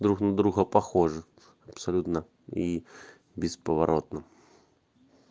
друг на друга похожи абсолютно и бесповоротно